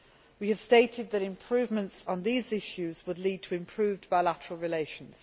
We have stated that improvements on these issues would lead to improved bilateral relations.